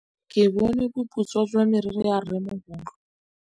Ke bone boputswa jwa meriri ya rrêmogolo.